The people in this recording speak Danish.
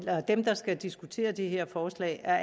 dem der skal diskutere det her forslag er